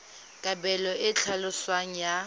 kabelo e e tlhaloswang ya